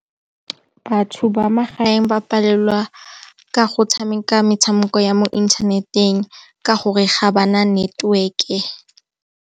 Batho ba magaeng ba palelwa ka go tshameka metshameko ya mo inthaneteng ka gore ga ba na network-e.